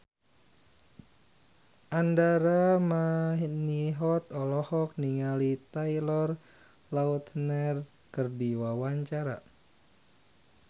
Andra Manihot olohok ningali Taylor Lautner keur diwawancara